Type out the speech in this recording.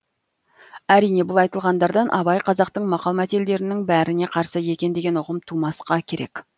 әрине бұл айтылғандардан абай қазақтың мақал мәтелдерінің бәріне қарсы екен деген ұғым тумасқа керек